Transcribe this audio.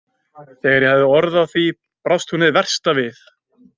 Þegar ég hafði orð á því brást hún hin versta við.